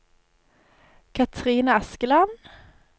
Katrine Askeland